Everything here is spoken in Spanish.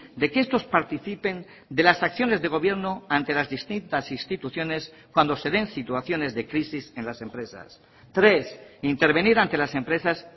de que estos participen de las acciones de gobierno ante las distintas instituciones cuando se den situaciones de crisis en las empresas tres intervenir ante las empresas